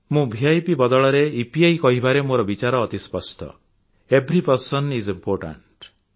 ମୁଁ ଭିପ୍ ବଦଳରେ ଇପିଆଇ କହିବାରେ ମୋର ବିଚାର ଅତି ସ୍ପଷ୍ଟ ଏଭରି ପର୍ସନ୍ ଆଇଏସ୍ ଇମ୍ପୋର୍ଟାଣ୍ଟ